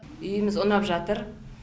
үйіміз ұнап жатыр